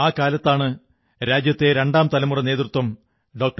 ആ കാലത്താണ് രാജ്യത്തെ രണ്ടാം തലമുറ നേതൃത്വത്തിൽപ്പെട്ട ഡോ